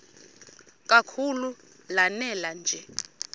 kakhulu lanela nje